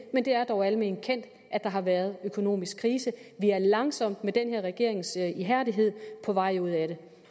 men det er dog alment kendt at der har været en økonomisk krise vi er langsomt med den her regerings ihærdighed på vej ud af den